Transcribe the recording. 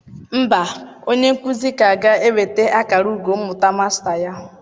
Mba, onye nkuzi ka ga-enweta akara ugo mmụta Masta ya.